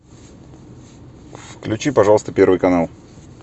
включи пожалуйста первый канал